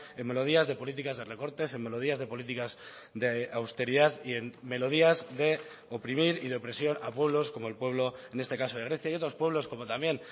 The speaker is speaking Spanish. en melodías de políticas de recortes en melodías de políticas de austeridad y en melodías de oprimir y de presión a pueblos como el pueblo en este caso de grecia y otros pueblos como también